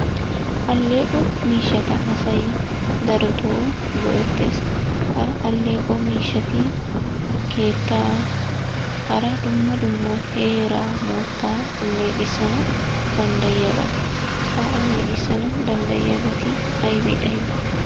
Alleeqo miishshata asay daroto go'ettes. Ha alleeqo miishshati keettaa, hara dumma dumma heeraa moottaa alleqissana danddayiyabata. Ha alleqissana danddayiyabati ayibe ayibe?